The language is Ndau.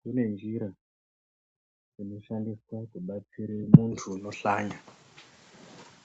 Kune njira dzinoshandiswa kubatsire muntu unohlanya.